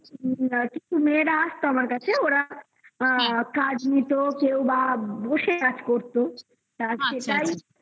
কিছু মেয়েরা আসতো আমার কাছে ওরা কাজ নিতো কেউবা বসে কাজ করতো তারপর এটাই